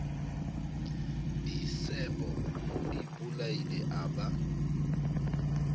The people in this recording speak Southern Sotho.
disebo o ipolaile a ba